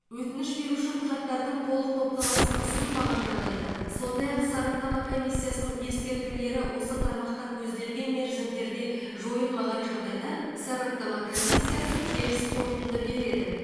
өтініш беруші құжаттардың толық топтамасын ұсынбаған жағдайда сондай ақ сараптама комиссиясының ескертулері осы тармақта көзделген мерзімдерде жойылмаған жағдайда сараптама комиссиясы теріс қорытынды береді